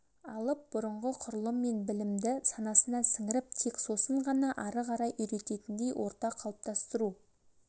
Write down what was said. алып бұрынғы құрылым мен білімді санасына сіңіріп тек сосын ғана ары қарай үйренетіндей орта қалыптастыру